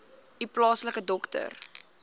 u plaaslike dokter